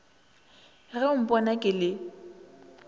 ge o mpona ke le